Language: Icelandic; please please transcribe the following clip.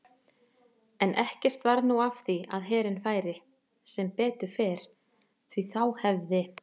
En ekkert varð nú af því að herinn færi, sem betur fer því þá hefði